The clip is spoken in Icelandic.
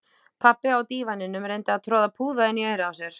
Pabbi á dívaninum reyndi að troða púða inn í eyrað á sér